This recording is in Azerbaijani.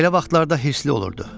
Belə vaxtlarda hirli olurdu.